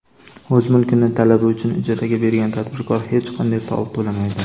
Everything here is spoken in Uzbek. O‘z mulkini talaba uchun ijaraga bergan tadbirkor hech qanday soliq to‘lamaydi.